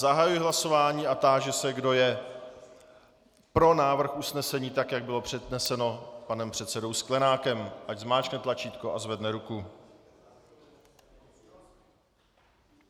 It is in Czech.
Zahajuji hlasování a táži se, kdo je pro návrh usnesení, tak jak bylo předneseno panem předsedou Sklenákem, ať zmáčkne tlačítko a zvedne ruku.